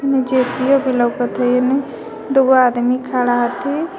हेमे JCB ओ भी लउकत हेने दुगो आदमी खड़ा हथी.